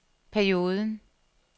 perioden